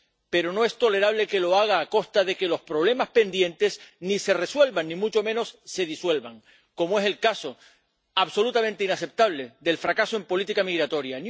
Pero no es tolerable que lo haga a costa de que los problemas pendientes ni se resuelvan ni mucho menos se disuelvan, como es el caso, absolutamente inaceptable, del fracaso en política migratoria.